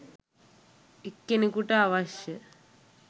එක්කෙනෙකුට අවශ්‍ය